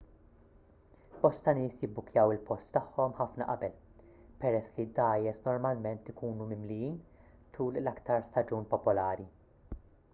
bosta nies jibbukkjaw il-post tagħhom ħafna qabel peress li d-dgħajjes normalment ikunu mimlijin tul l-iktar staġun popolari